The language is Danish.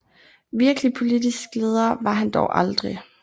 Virkelig politisk leder var han dog aldrig